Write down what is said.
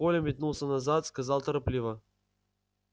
коля метнулся назад сказал торопливо